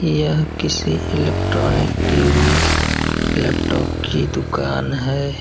यह किसी electronic TV. Laptop की दुकान है।